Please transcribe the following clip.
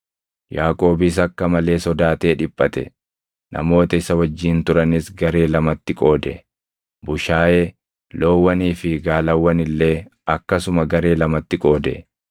Yaaqoobis akka malee sodaatee dhiphate; namoota isa wajjin turanis garee lamatti qoode; bushaayee, loowwanii fi gaalawwan illee akkasuma garee lamatti qoode.